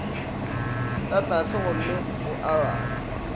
ka tlase gomme o arabe